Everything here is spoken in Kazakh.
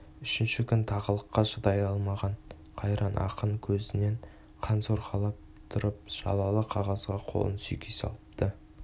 үшінші күн тағылыққа шыдай алмаған қайран ақын көзінен қан сорғалап тұрып жалалы қағазға қолын сүйкей салыпты